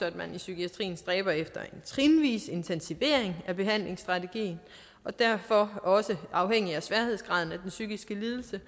at man i psykiatrien stræber efter en trinvis intensivering af behandlingsstrategien og derfor også afhængig af sværhedsgraden af den psykiske lidelse